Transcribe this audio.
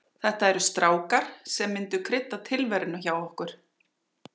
Þetta eru strákar sem myndu krydda tilveruna hjá okkur.